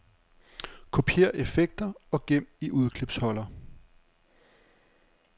Kopiér effekter og gem i udklipsholder.